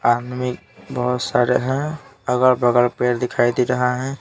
आदमी बहुत सारे हैं अगल-बगल पेड़ दिखाई दे रहा है।